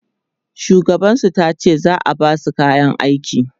shugaban su tace za'a Basu kayan aiki